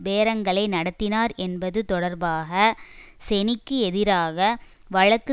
பேரங்களை நடத்தினார் என்பது தொடர்பாக செனிக்கு எதிராக வழக்கு